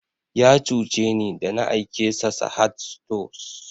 Ya cuce ni da na aike sa Sahad stores